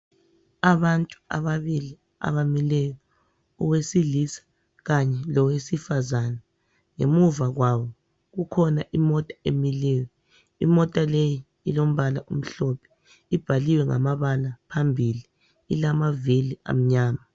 Abantu ababili abamileyo owesilisa kanye lowesifazana ngemuva kwabo kukhona imota emileyo imota leyi ilombala omhlophe ibhaliwe ngamabala phambili ilamavili amnyama